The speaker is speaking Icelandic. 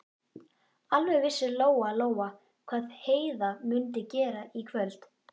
Alveg vissi Lóa-Lóa hvað Heiða mundi gera í kvöld.